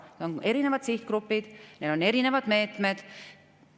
Need on erinevad sihtgrupid, need on erinevad meetmed.